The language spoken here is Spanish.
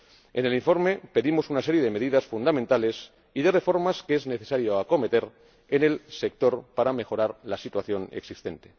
En el informe pedimos una serie de medidas fundamentales y de reformas que es necesario acometer en el sector para mejorar la situación existente.